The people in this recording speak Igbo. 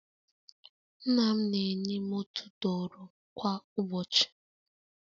Nna m na-enye m otu tọrọ kwa ụbọchị